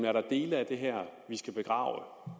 er der dele af det her vi skal begrave og